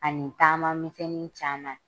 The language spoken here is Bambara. A ni taama misɛni caman.